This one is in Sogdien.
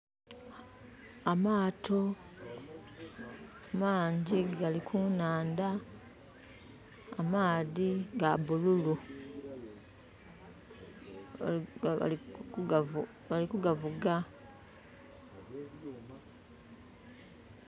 Amaato mangi gall ku naandha, amaadhi ga bululu. Bali kugavuga.